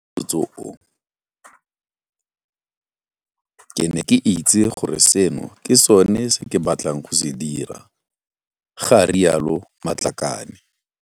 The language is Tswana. Ka motsoso oo ke ne ka itse gore seno ke sone se ke batlang go se dira, ga rialo Matlakane.